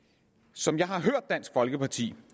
som jeg har hørt dansk folkeparti